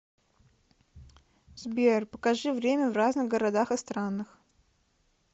сбер покажи время в разных городах и странах